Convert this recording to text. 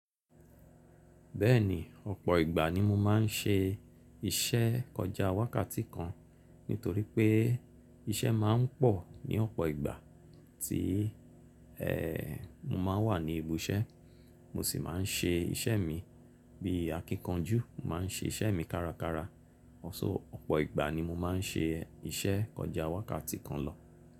Bẹ́ẹ̀ni ọ̀pọ̀ ìgbà ni mo má n ṣe iṣẹ́ kọjá wákàtí kan nítorí pé iṣẹ́ má n pọ̀ ní ọ̀pọ̀ ìgbà tí e mu má n wà ní ibi iṣẹ́. Mo sì má n ṣe iṣẹ́ mi bí akíkanjú, mo má n ṣe iṣẹ́ mi kárakára. Oṣoo ọ̀pọ̀ ìgbà ni mo má n ṣe iṣẹ́ kọjá wákàtí kan lọ.